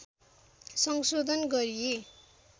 संशोधन गरिए